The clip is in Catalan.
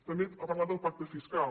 també ha parlat del pacte fiscal